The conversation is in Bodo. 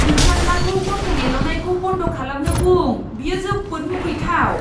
नोंसाज्लाखौ गन्थं एल'नायखौ बन्द खालामनो बुं। बेयो जोबोद मुगैथाव!